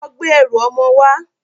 Lọ gbé ẹrù ọmọ wá!